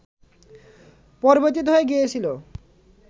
পরিবর্তিত হয়ে গিয়েছিল